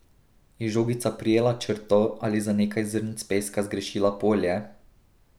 Je žogica prijela črto ali za nekaj zrnc peska zgrešila polje?